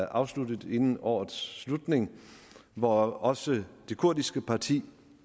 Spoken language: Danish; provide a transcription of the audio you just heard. afsluttet inden årets slutning hvor også det kurdiske parti